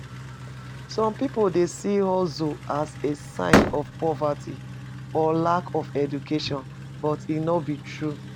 Some people dey see hustle as a sign of poverty or lack of education, but e no be true.